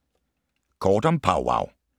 Kort om Powwow